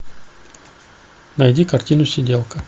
найди картину сиделка